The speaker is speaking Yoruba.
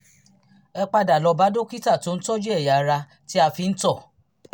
ẹ padà lọ bá dókítà tó tọ́jú ẹ̀yà ara tí a fi ń tọ̀